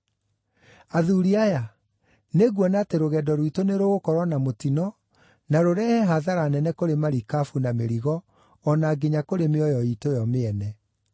“Athuuri aya, nĩnguona atĩ rũgendo rwitũ nĩ rũgũkorwo na mũtino na rũrehe hathara nene kũrĩ marikabu na mĩrigo o na nginya kũrĩ mĩoyo iitũ yo mĩene.”